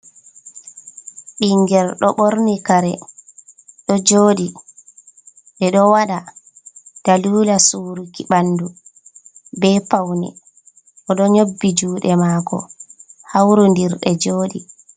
Ɓinngel ɗo ɓorni kare ɗo jooɗi, ɓe ɗo waɗa dalila suruki ,ɓanndu be pawne. O ɗo nyobbi juuɗe maako hawrindiri ɗe jooɗi.